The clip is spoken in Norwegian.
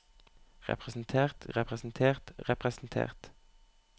representert representert representert